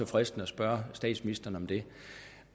fristende at spørge statsministeren om det